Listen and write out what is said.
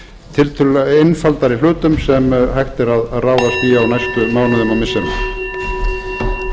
tiltölulega einfaldari hlutum sem hægt er að ráðast í á næstu mánuðum og missirum